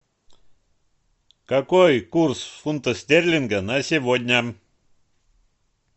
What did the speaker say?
какой курс фунта стерлинга на сегодня